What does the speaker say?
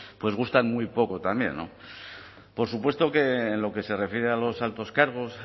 pues gustan muy poco también no por supuesto que en lo que se refiere a los altos cargos